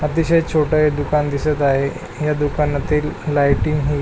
अतिशय छोट हे दुकान दिसत आहे ह्या दुकानातील लायटिंग ही--